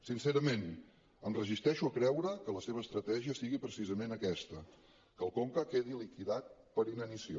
sincerament em resisteixo a creure que la seva estratègia sigui precisament aquesta que el conca quedi liquidat per inanició